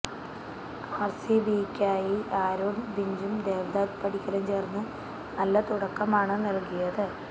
ആർസിബിയ്ക്കായി Aaron ഫിഞ്ചും ദേവ്ദത്ത് പടിക്കലും ചേർന്ന് നല്ല തുടക്കമാണ് നൽകിയത്